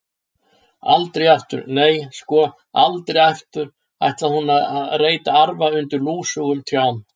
Aldrei aftur, nei, sko, aldrei aftur ætlaði hún að reyta arfa undir lúsugum trjám.